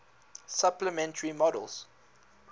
supplementary models